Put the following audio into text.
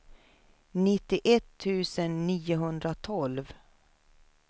nittioett tusen niohundratolv